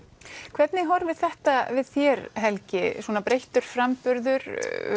hvernig horfir þetta við þér Helgi svona breyttur framburður